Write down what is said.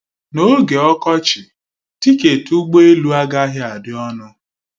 N'oge ọkọchị, tiketi ụgbọ elu agaghị adị ọnụ